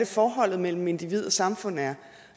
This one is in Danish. forholdet mellem individ og samfund er